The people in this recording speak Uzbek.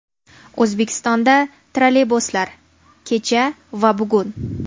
O‘zbekistonda trolleybuslar: Kecha va bugun.